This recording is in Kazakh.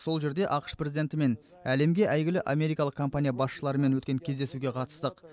сол жерде ақш президентімен әлемге әйгілі америкалық компания басшыларымен өткен кездесуге қатыстық